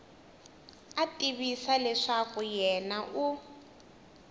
a tivisa leswaku yena u